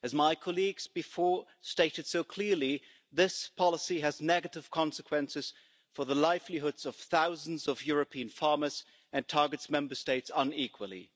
As my colleagues before stated so clearly, this policy has negative consequences for the livelihoods of thousands of European farmers and targets Member States unequally.